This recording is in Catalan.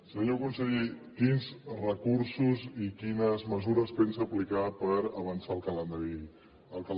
senyor conseller quins recursos i quines mesures pensa aplicar per avançar el calendari escolar